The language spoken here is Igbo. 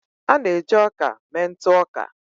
A na-eji ọka mee ntụ ọka.